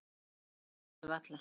Ég trúi þessu varla.